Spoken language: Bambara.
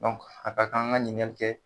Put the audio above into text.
Dɔnku a ka kan an ka ɲininkali kɛ